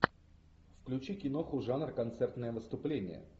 включи киноху жанр концертное выступление